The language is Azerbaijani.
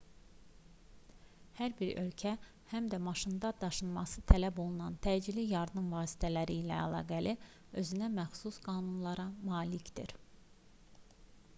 hər bir ölkə həm də maşında daşınması tələb olunan təcili yardım vasitələri ilə əlaqəli özünəməxsus qanunlara malikdir